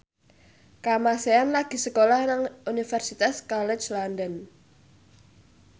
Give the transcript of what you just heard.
Kamasean lagi sekolah nang Universitas College London